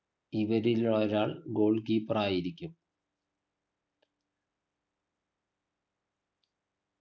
ഇവരിൽ ഒരാൾ goal keeper ആയിരിക്കും